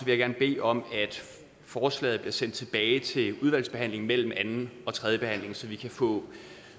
jeg gerne bede om at forslaget bliver sendt tilbage til udvalgsbehandling mellem anden og tredje behandling så vi kan få